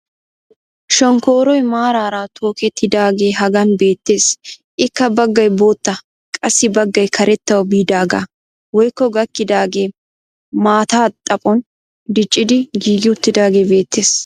Shonkkooroy maaraara tokkettidaagee hagan beettees. ikka baggay bootta qassi baggay karettawu biidaagaa woykko gakkidaagee maataa xaphphon diccidi giigi uttidaagee beetees.